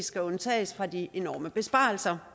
skal undtages fra de enorme besparelser